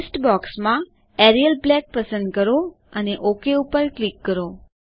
list boxમાં Arial Black પસંદ કરો અને ઓક ઉપર ક્લિક કરો